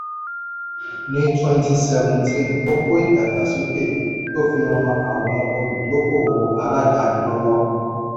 ní twenty seventeen ó kó ìdàgbàsókè tó fi ran àwọn olùdókòwò aláàdáni lọ́wọ́.